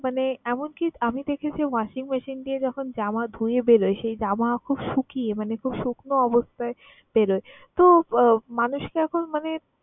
মানে এমনকি আমি দেখেছি washing machine দিয়ে যখন জামা ধুয়ে বেরোয়, সেই জামা খুব শুকিয়ে মানে খুব শুকনো অবস্থায় বেরোয়। তো মানুষকে এখন মানে